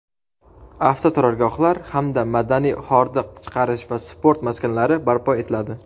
avtoturargohlar hamda madaniy hordiq chiqarish va sport maskanlari barpo etiladi.